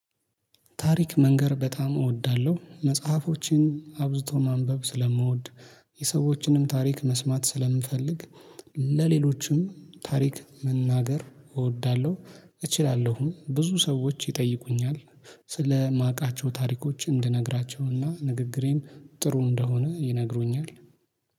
ታሪክ መንገር በጣም እወዳለሁ መጽሐፎችን አብዝቶ ማንበብ ስለምወድ። የሰዎችንም ታሪክ መስማት ስለምንፈልግ። ለሌሎችም ታሪክ መናገር እወዳለሁ። እችላለሁም ብዙ ሰዎች ይጠይቁኛል። ስለማቃቸው ታሪኮች እንድነግራቸውና ንግግሬም ጥሩ እንደሆነ ይነግሩኛል